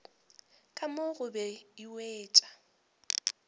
ka mo gobe e wetšwa